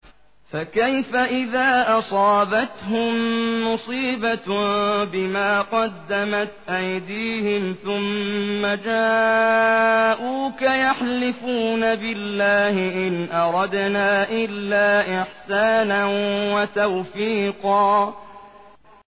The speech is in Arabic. فَكَيْفَ إِذَا أَصَابَتْهُم مُّصِيبَةٌ بِمَا قَدَّمَتْ أَيْدِيهِمْ ثُمَّ جَاءُوكَ يَحْلِفُونَ بِاللَّهِ إِنْ أَرَدْنَا إِلَّا إِحْسَانًا وَتَوْفِيقًا